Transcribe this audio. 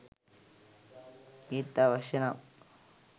ඒත් අවශ්‍යනම්